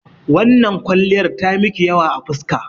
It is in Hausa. Wannan kwalliyar ta miki yawa a fuska.